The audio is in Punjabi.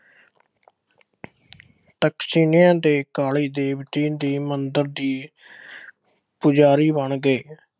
ਤਕਸ਼ਿਲਾ ਦੇ ਕਾਲੀ ਦੇਵੀ ਦੇ ਮੰਦਰ ਦੀ ਪੁਜਾਰੀ ਬਣ ਗਏ।